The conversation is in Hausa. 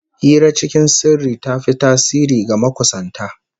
Hira cikin sirri ta fi tasiri ga makusanta